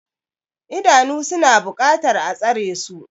Idanu suna buƙatar a tsare su.